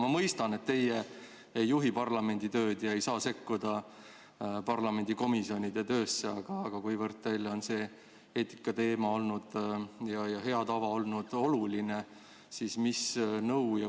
Ma mõistan, et teie ei juhi parlamendi tööd ega saa sekkuda ka komisjonide töösse, aga kuna eetikateema ja hea tava olnud teile oluline, siis küsin, mis nõu te annate.